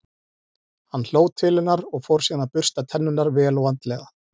Hann hló til hennar og fór síðan að bursta tennurnar, vel og vandlega.